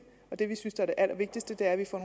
det vi synes er det allervigtigste er at vi får